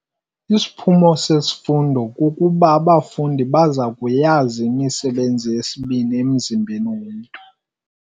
Isiphumo sesifundo kukuba abafundi baza kuyazi imisebenzi yesibindi emzimbeni womntu.